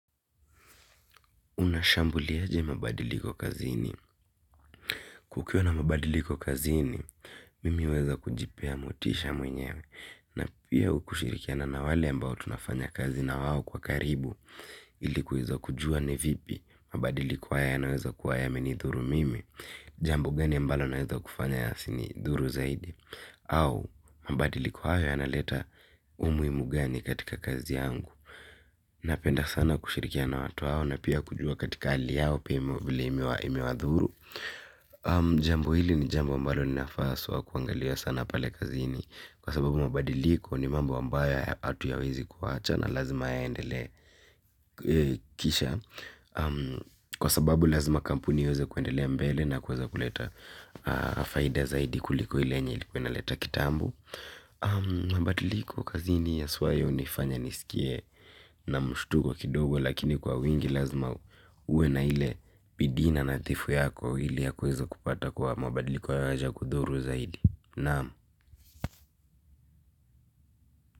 Unashambuli aje mabadiliko kazini. Kukiwa na mabadiliko kazini mimi huweza kujipea motisha mwenyewe. Na pia kushirikiana na wale ambao tunafanya kazi na wao kwa karibu ili kuweza kujua ni vipi mabadiliko haya yanaweza kuwa yamenidhuru mimi. Jambo gani ambalo naweza kufanya yasi nidhuru zaidi. Au mabadiliko hayo yanaleta umuhimu gani katika kazi yangu. Napenda sana kushirikiana na watu hao na pia kujua katika hali yao pia vile imewa dhuru jambo hili ni jambo ambalo linafaa haswa kuangaliwa pale kazini kwa sababu mabadiliko ni mambo ambayo hatuyawezi kuacha na lazima yaendelee kisha kwa sababu lazima kampuni iweze kuendelea mbele na kuweza kuleta faida zaidi kuliko ile yenye ilikuwa ina leta kitambo. Mabadiliko kazini haswaa hunifanya nisikie na mshtuko kidogo lakini kwa wingi lazima uwe na ile bidii na nadhifu yako ile ya kuweza kupata kuwa mabadiliko hayaja kudhuru zaidi. Naam.